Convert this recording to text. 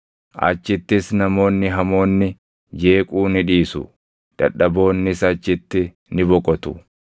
Achittis namoonni hamoonni jeequu ni dhiisu; dadhaboonnis achitti ni boqotu.